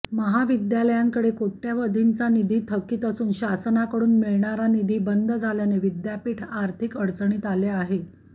महाविद्यालयांकडे कोटय़वधींचा निधी थकीत असून शासनाकडून मिळणारा निधी बंद झाल्याने विद्यापीठ आर्थिक अडचणीत आले आहे